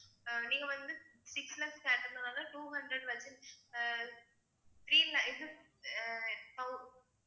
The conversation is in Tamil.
நீங்க வந்து six laksh